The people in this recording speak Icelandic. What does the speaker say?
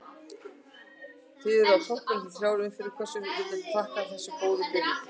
Þið eruð á toppnum eftir þrjár umferðir, hverju viltu þakka þessa góðu byrjun?